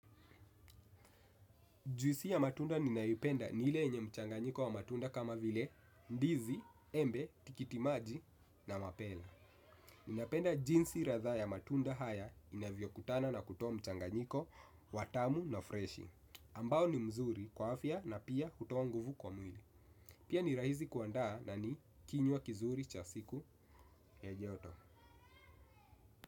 Juisi ya matunda ninaipenda ni ile yenye mchanganyiko wa matunda kama vile ndizi, embe, tikitimaji na mapera. Ninapenda jinsi ladha ya matunda haya inavyokutana na kutoa mchanganyiko, wa tamu na freshi. Ambao ni mzuri kwa afya na pia hutoa nguvu kwa mwili. Pia ni rahisi kuandaa na ni kinywa kizuri cha siku ya joto.